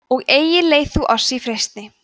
og eigi leið þú oss í freistni